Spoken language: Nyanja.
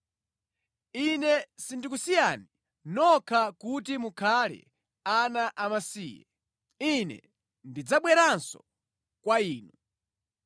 Ine sindikusiyani nokha kuti mukhale ana amasiye. Ine ndidzabweranso kwa inu.